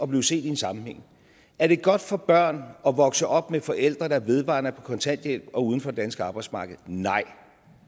blive set i en sammenhæng er det godt for børn at vokse op med forældre der vedvarende er på kontanthjælp og uden for det danske arbejdsmarked nej